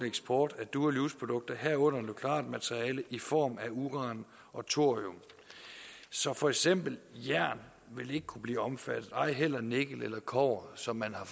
eksport af dual use produkter herunder nukleart materiale i form af uran og thorium så for eksempel jern vil ikke kunne blive omfattet og ej heller nikkel eller kobber som man har